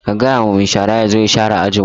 Ka gaya wa mai shara ya zo ya share ajin mu!